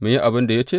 Mu yi abin da ya ce?